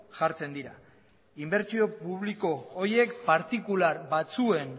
jartzen dira inbertsio publiko horiek partikular batzuen